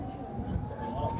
Olur, olur!